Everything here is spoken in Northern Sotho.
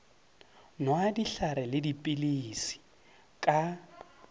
nwa dihlare le dipilisi ka